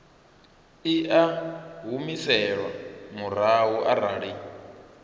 i a humiselwa murahu arali